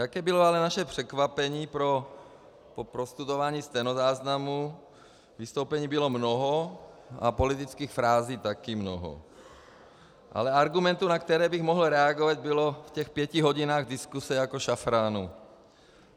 Jaké bylo ale naše překvapení po prostudování stenozáznamu - vystoupení bylo mnoho a politických frází také mnoho, ale argumentů, na které bych mohl reagovat, bylo v těch pěti hodinách diskuse jako šafránu.